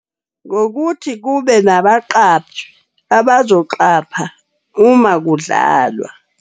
Ngokuthi kube nabaqaphi abazoqapha uma kudlalwa.